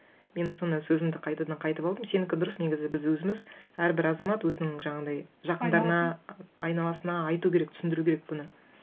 мен соны сөзімді қайтадан қайтып алдым сенікі дұрыс негізі біз өзіміз әрбір азамат өзінің жаңағындай жақындарына айналасына айту керек түсіндіру керек бұны